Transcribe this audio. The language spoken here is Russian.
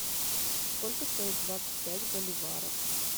сколько стоит двадцать пять боливаров